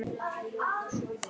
Fyrir stuttu hringdi svo Birkir.